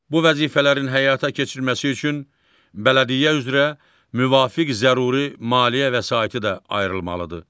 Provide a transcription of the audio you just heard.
Bu vəzifələrin həyata keçirilməsi üçün bələdiyyə üzrə müvafiq zəruri maliyyə vəsaiti də ayrılmalıdır.